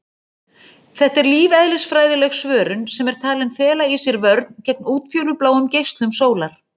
Þetta er lífeðlisfræðileg svörun sem er talin fela í sér vörn gegn útfjólubláum geislum sólar.